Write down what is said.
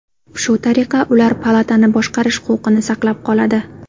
Shu tariqa, ular palatani boshqarish huquqini saqlab qoladi.